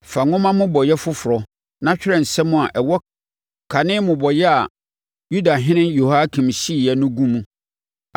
“Fa nwoma mmobɔeɛ foforɔ, na twerɛ nsɛm a ɛwɔ kane mmobɔeɛ a Yudahene Yehoiakim hyeeɛ no gu mu.